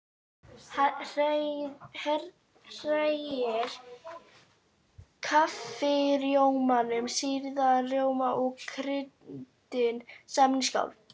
Hrærið kaffirjómanum, sýrða rjómanum og kryddinu saman í skál.